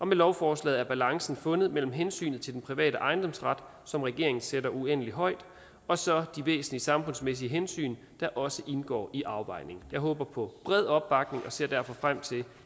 med lovforslaget er balancen fundet mellem hensynet til den private ejendomsret som regeringen sætter uendelig højt og så de væsentlige samfundsmæssige hensyn der også indgår i afvejningen jeg håber på bred opbakning og ser derfor frem til